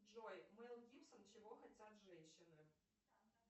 джой мел гибсон чего хотят женщины